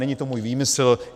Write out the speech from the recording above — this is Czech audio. Není to můj výmysl.